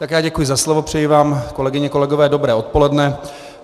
Tak já děkuji za slovo, přeji vám, kolegyně, kolegové, dobré odpoledne.